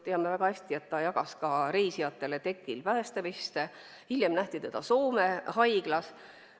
Teame väga hästi, et ta jagas ka reisijatele tekil päästeveste, hiljem nähti teda Soome haiglas.